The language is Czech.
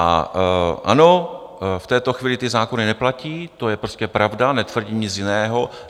A ano v této chvíli ty zákony neplatí, to je prostě pravda, netvrdím nic jiného.